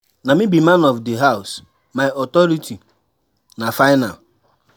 Na me be man of di house, my authority na final.